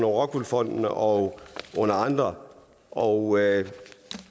rockwool fonden og andre og